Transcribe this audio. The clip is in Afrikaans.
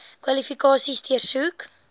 kwalifikasies deursoek